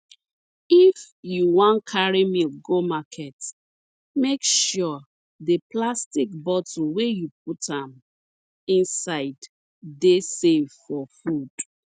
if you wan carry milk go market make sure the plastic bottle wey you put am inside dey safe for food